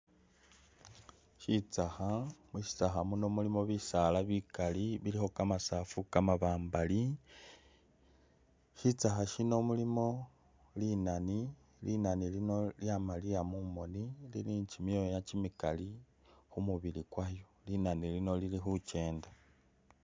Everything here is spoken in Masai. Shitsakha, mushitsakha muno mulimo bisaala bikali bilikho kamasag=fu kamabambali shitsakha shino mulimo li nani, li nani lino lyamaliya mumoni lili ni kyimyoya kyimikali khumubili kwayo, linani lino lili khukyenda